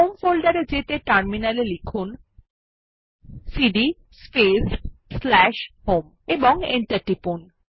home folder এ যেতে terminal এ লিখুন সিডি স্পেস স্ল্যাশ হোম এবং এন্টার টিপুন